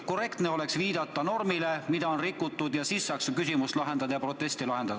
Korrektne oleks viidata normile, mida on rikutud, ja siis saaks ka küsimust lahendada ja proteste käsitleda.